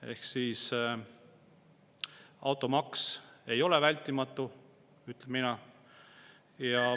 Ehk siis automaks ei ole vältimatu, ütlen mina.